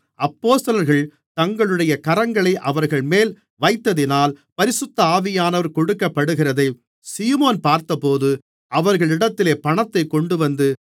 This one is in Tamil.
அப்போஸ்தலர்கள் தங்களுடைய கரங்களை அவர்கள்மேல் வைத்ததினால் பரிசுத்த ஆவியானவர் கொடுக்கப்படுகிறதை சீமோன் பார்த்தபோது அவர்களிடத்தில் பணத்தைக் கொண்டுவந்து